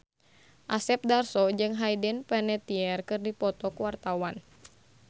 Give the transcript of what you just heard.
Asep Darso jeung Hayden Panettiere keur dipoto ku wartawan